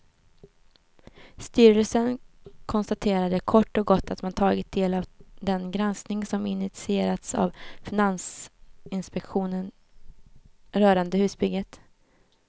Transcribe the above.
Styrelsen konstaterade kort och gott att man tagit del av den granskning som initierats av finansinspektionen rörande husbygget.